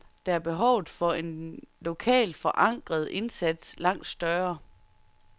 Der er behovet for en lokalt forankret indsats langt større.